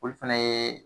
Olu fɛnɛ ye